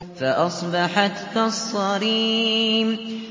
فَأَصْبَحَتْ كَالصَّرِيمِ